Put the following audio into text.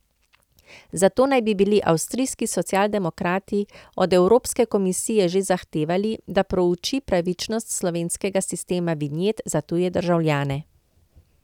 Zato naj bi bili avstrijski Socialdemokrati od Evropske komisije že zahtevali, da prouči pravičnost slovenskega sistema vinjet za tuje državljane.